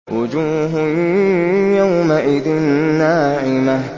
وُجُوهٌ يَوْمَئِذٍ نَّاعِمَةٌ